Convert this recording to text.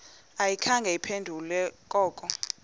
ayikhange iphendule koko